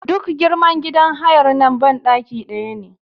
Duk girman gidan hayar nan banɗaki ɗaya ne a ciki.